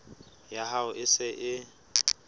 ya hao e se e